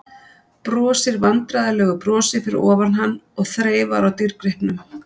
Brosir vandræðalegu brosi fyrir ofan hann og þreifar á dýrgripnum.